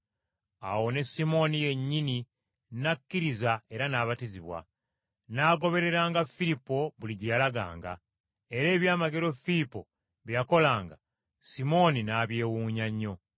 Awo ne Simooni yennyini n’akkiriza era n’abatizibwa, n’agobereranga Firipo buli gye yalaganga; era ebyamagero Firipo bye yakolanga, Simooni n’abyewuunya nnyo.